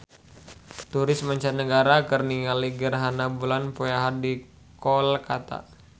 Turis mancanagara keur ningali gerhana bulan poe Ahad di Kolkata